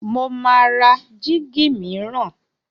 Mo máa ra jíígi mìíràn.